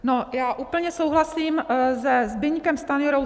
Já úplně souhlasím se Zbyňkem Stanjurou.